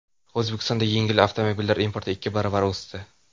O‘zbekistonda yengil avtomobillar importi ikki barobarga o‘sdi.